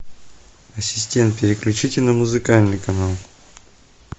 ассистент переключите на музыкальный канал